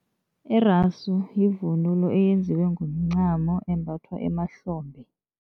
Irasu yivunulo eyenziwe ngomncamo embathwa emahlombe.